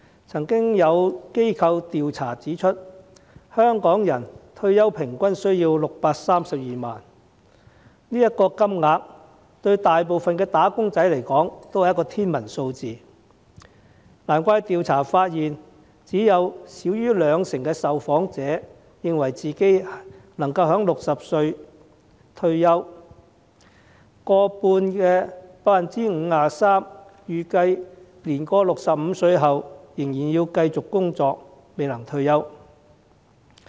曾有機構的調查指出，香港人退休平均需要632萬元，這個金額對大部分"打工仔"而言也是天文數字，難怪調查發現只有少於兩成的受訪者認為自己能夠在60歲退休，而逾半的受訪者預計年過65歲仍然要繼續工作，未能退休。